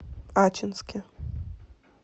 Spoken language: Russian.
ачинске